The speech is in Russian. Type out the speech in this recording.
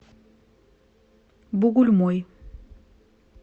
бугульмой